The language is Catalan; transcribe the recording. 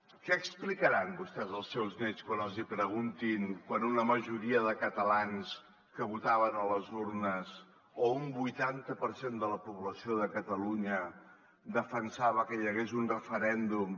què explicaran vostès als seus nets quan els hi preguntin quan una majoria de catalans que votaven a les urnes o un vuitanta per cent de la població de catalunya defensava que hi hagués un referèndum